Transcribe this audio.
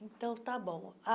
Então, está bom.